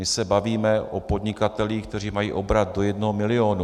My se bavíme o podnikatelích, kteří mají obrat do jednoho milionu.